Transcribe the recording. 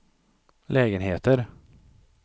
lägenheter